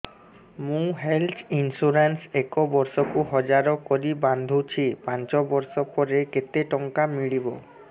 ମୁ health insurance ଏକ ବର୍ଷକୁ ହଜାର କରି ବାନ୍ଧୁଛି ପାଞ୍ଚ ବର୍ଷ ପରେ କେତେ ଟଙ୍କା ମିଳିବ